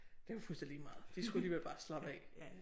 Det var fuldstændig lige meget de skulle alligevel bare slappe af